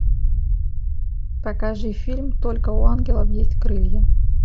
покажи фильм только у ангелов есть крылья